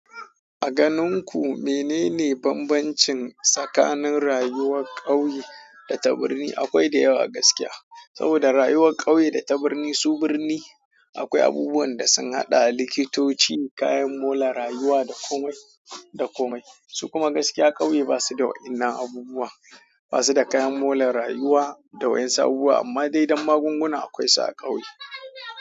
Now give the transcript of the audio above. A ganin ku menene bambancin tsakanin rayuwar ƙauye da ta birni? Akwai da yawa gaskiya. Saboda rayuwar ƙauye da ta birni su birni, akwai abubuwan da sun haɗa likitoci, kayan molan rayuwa da komai da komai. Su kuma gaskiya ƙauye ba su da waɗannan abubuwa. Ba su da kayan molan rayuwa da waɗansu abubuwa, amma dai don magunguna akwai su a ƙauye.